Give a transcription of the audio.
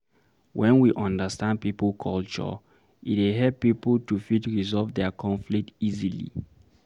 When we understand pipo culture, e dey help pipo to fit resolve their conflict easily